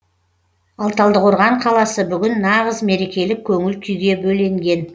ал талдықорған қаласы бүгін нағыз мерекелік көңіл күйге бөленген